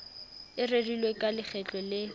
e rerilweng ka lekgetlo le